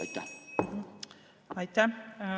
Aitäh!